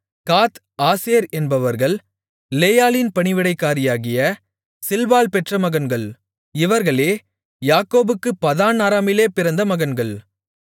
காத் Asher என்பவர்கள் லேயாளின் பணிவிடைக்காரியாகிய சில்பாள் பெற்ற மகன்கள் இவர்களே யாக்கோபுக்குப் பதான் அராமிலே பிறந்த மகன்கள்